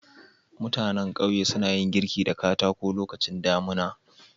Mutannan ƙauye suna yin girki da katako lokacin damuna.